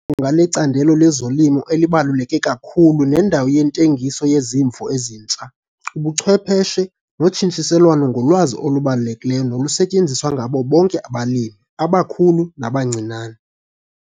nga lecandelo lezolimo elibaluleke kakhulu nendawo yentengiso yezimvo ezintsha, ubuchwepheshe notshintshiselwano ngolwazi olubalulekileyo nolusetyenziswa ngabo bonke abalimi, abakhulu nabancinane.